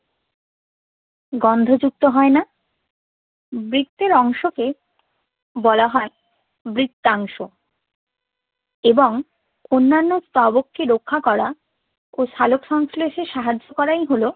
গন্ধযুক্ত হয় না বৃত্তের অংশকে বলা হয় বৃত্তাংশ এবং অন্যান্য স্তবকটি রক্ষা করা ও সলোকসংশ্লেষে সাহায্য করাই হলো